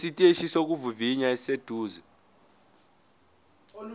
esiteshini sokuvivinya esiseduze